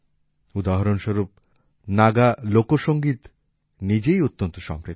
উদাহরণ স্বরূপ নাগা লোকসংগীত নিজেই অত্যন্ত সমৃদ্ধ